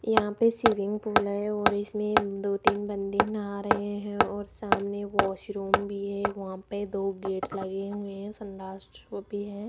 यहां पे swimming pool है और इसमें दो तीन बंदे नहा रहे हैं और सामने वॉशरूम भी है वहां पे दो गेट लगें हुए हैं संडास भी है।